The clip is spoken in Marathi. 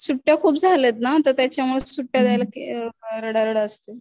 सुट्ट्या खूप झाल्यात ना तर त्याच्यामुळे सुट्ट्या द्यायला रडारड असते.